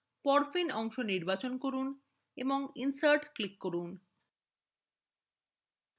porphin অংশ নির্বাচন করুন এবং insert click করুন